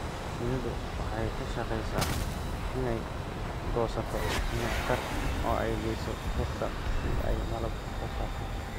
Shinnidu waxay ka shaqeysaa inay goosato nectar oo ay geyso rugta si ay malab u soo saarto.